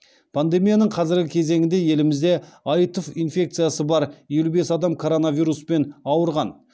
пандемияның қазіргі кезеңінде елімізде аитв инфекциясы бар елу бес адам коронавируспен ауырған